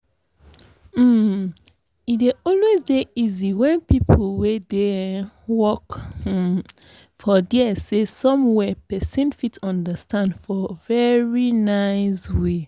um e dey always dey easy when people wey dey um work um for dere say some where person fit understand for very nice way.